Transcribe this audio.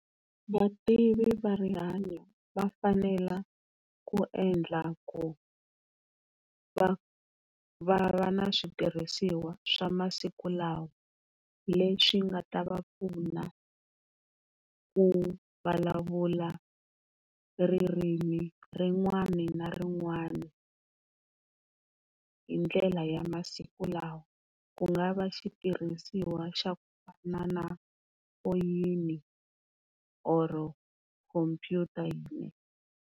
Vativi va rihanyo va fanela ku endla ku va va va na switirhisiwa swa masiku lawa leswi nga ta va pfuna ku vulavula ririmi rin'wana na rin'wana hi ndlela ya masiku lawa, ku nga va xitirhisiwa xa ku fana na foyini or-o khomphyuta.